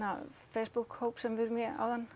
Facebook hóp sem við erum í áðan